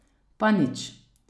Pa nič.